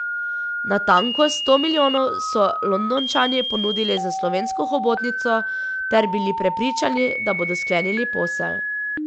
Natanko sto milijonov so Londončani ponudili za slovensko hobotnico ter bili prepričani, da bodo sklenili posel.